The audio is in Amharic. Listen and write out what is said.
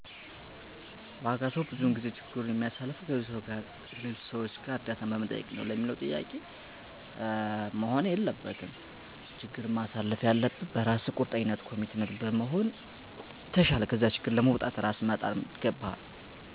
ዋጋ ሰዎች ብዙውን ጊዜ ችግሩን የሚያልፉት ከሌሎች ሰዎች እርዳታ በመጠየቅ ነው።